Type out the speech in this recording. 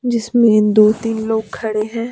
जिसमें दो तीन लोग खड़े हैं।